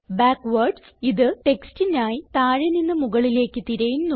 backwards ഇത് ടെക്സ്റ്റിനായി താഴെ നിന്ന് മുകളിലേക്ക് തിരയുന്നു